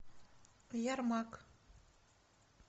ярмак